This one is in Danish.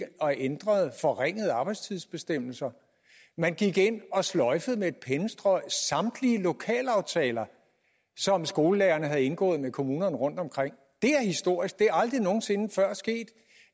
og ændrede forringede arbejdstidsbestemmelser man gik ind og sløjfede med et pennestrøg samtlige lokalaftaler som skolelærerne havde indgået med kommunerne rundtomkring det er historisk det er aldrig nogen sinde før sket